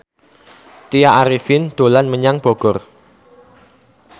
Tya Arifin dolan menyang Bogor